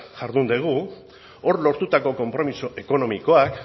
jardun dugu hor lortutako konpromiso ekonomikoak